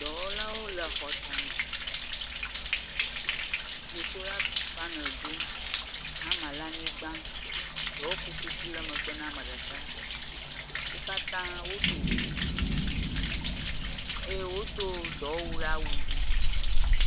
Dɔwɔlawo le xɔ tame. Wo sola panel ɖom. Hama le anyigba. Dɔwɔkotoku le megbe na ame ɖeka. Wo katã woɖo kuku eye wodo dɔwɔwu ɖe awu dzi.